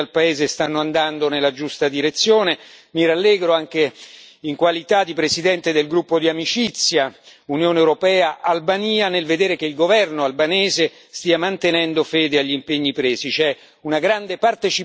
I progressi compiuti dal paese stanno andando nella giusta direzione. Mi rallegro, anche in qualità di presidente del gruppo di amicizia Unione europea Albania, nel vedere che il governo albanese sta mantenendo fede agli impegni presi.